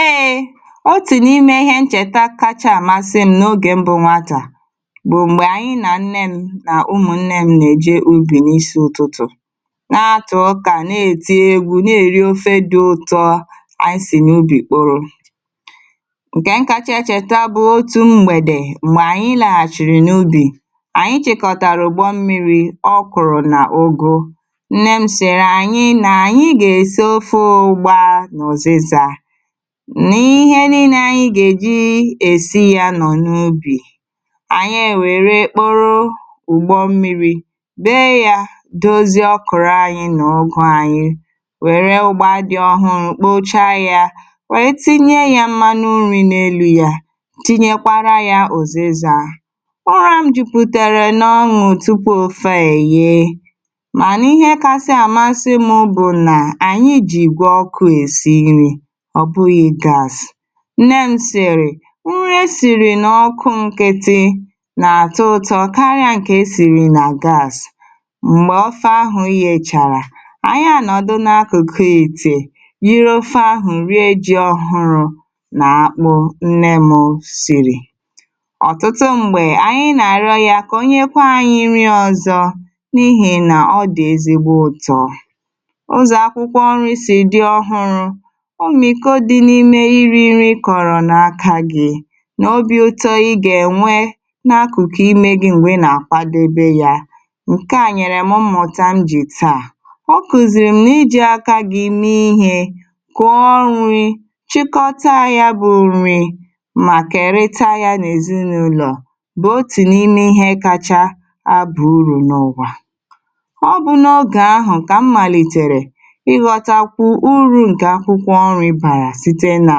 eėė otù n’ime ihe nchèta kacha àmasị m n’ogè mbụ nwatà bụ̀ m̀gbè ànyị nà nne m nà ụmụ̀ nne m nà-èji ubì n’isi ụtụtụ̀ na-atụ̀ ụkà na-ètìe egwù na-èri ofe dị ụ̀tọ ànyị sì n’ubì kpụrụ ǹkè nkachà cheta bụ̀ otù mgbèdè m̀gbè ànyị làchìrì n’ubì ànyị chekọ̀tàrà ugbọ mmi̇ri̇ ọ kụ̀rụ̀ nà u̇gȯ n’ihe niile anyị gà-èji èsi ya nọ̀ n’ubì ànyị èwère kporo ugbọ mmiri̇ bee ya doziọ̀ kụ̀rụ ànyị nà ogụ ànyị wère ugbọ dị ọhụrụ̇ kpocha ya wèe tinye ya mmanụ nri̇ n’elu ya tinyekwara ya òzizaa ụra m jupùtàra nà ọṅụ̀ tupu ofe èye nne m̀sìrì nri e sìrì nà ọkụ nkịtị nà àtọ ụtọ karịa ǹkè e sìrì nà gas m̀gbè ofe àhụ ihe chàrà ànyị à nọ̀dụ n’akụ̀kụ ètè yiri ofe ahụ̀ rie jị ọhụrụ nà akpụ nne m siri ọ̀tụtụ m̀gbè anyị̇ nà-àrịọ ya kà onye kwa anyị rịọ̇ ọ̀zọ n’ihì nà ọ dị̀ ezigbo ụtọ̇ o mìko dị n’ime iri nri kọ̀rọ̀ n’aka gị̇ n’obị ụtọ ị gà-ènwe n’akụ̀kụ̀ imė gị̇ m̀gbè nà-àkwa dobe yȧ ǹkè ànyịrị̀ mmụ̀tà m jì tàà o kùzìrì m na-iji aka gị̇ ime ihe kwọọ nri̇ chịkọta ya bụ̇ nri màkà ère taa ya n’èzinụlọ̀ bụ̀ otù n’ime ihe kacha abụ̀ urù n’ụwà ọbụ n’ogè ahụ̀ ǹkè a mmaliterè nà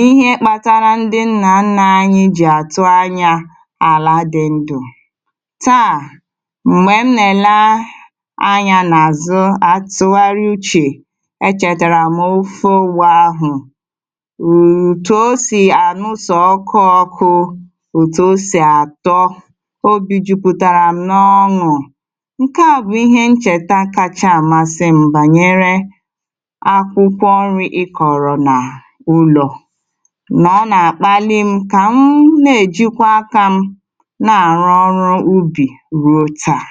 ihe kpatara ndi nà anà-anyị̇ jì àtụ anyȧ àla dị ndụ̇ taà m̀gbè m nèla anyȧ n’àzụ àtụgharị uchè e chètàrà m ụfọ wụ̇ ahụ̀ ụ̀tụ o sì ànụ sọ̀ ọkụ ọkụ̇ ụ̀tụ o sì àtọ o bì jupùtàrà m n’ọnụ̇ ǹkè a bụ̀ ihe m chèta kacha àmasị mbànyere ụlọ̇ nà ọ nà-àkpali m kà m nà-èjikwa akȧ m na-àrụ ọrụ̇ ubì ruo taa